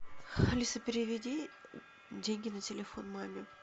алиса переведи деньги на телефон маме